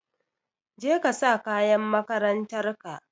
Jeka sa kayan makarantarka.